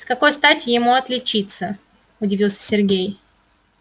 с какой стати ему отличиться удивился сергей